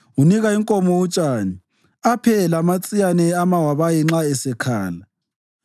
Unika inkomo utshani aphe lamatsiyane amawabayi nxa esekhala.